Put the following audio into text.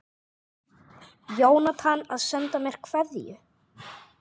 Jónatan að senda mér kveðju?